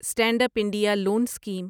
stand up India loan scheme